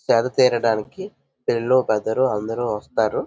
సేద తీరడానికి పిల్లలు పెద్దలు అందరూ వస్తారు.